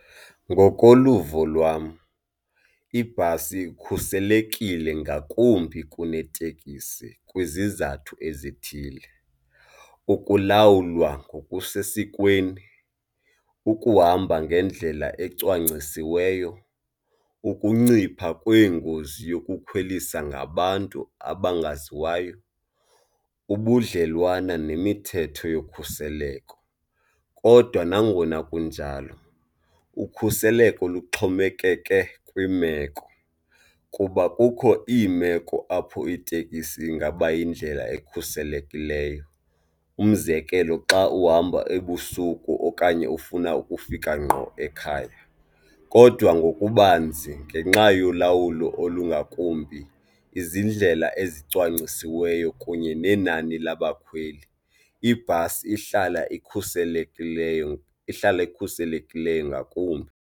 Ngokoluvo lwam ibhasi ikhuselekile ngakumbi kunetekisi kwizizathu ezithile. Ukulawulwa ngokusesikweni, ukuhamba ngendlela ecwangcisiweyo, ukuncipha kweengozi yokukhwelisa ngabantu abangaziwayo, ubudlelwane nemithetho yokhuseleko kodwa nangona kunjalo ukhuseleko luxhomekeke kwiimeko kuba kukho iimeko apho itekisi ingaba yindlela ekhuselekileyo. Umzekelo, xa uhamba ebusuku okanye ufuna ukufika ngqo ekhaya kodwa ngokubanzi ngenxa yolawulo olungakumbi izindlela ezicwangcisiweyo kunye nenani labakhweli ibhasi ihlala ikhuselekileyo, ihlala ikhuselekileyo ngakumbi.